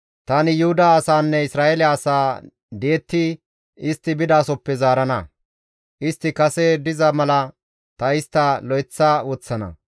Tani Yuhuda asaanne Isra7eele asaa di7etti istti bidasoppe zaarana; istti kase diza mala ta istta lo7eththa woththana.